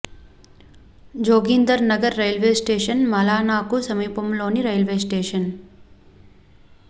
Joginder Nagar railway station Malana కు సమీపంలోని railway station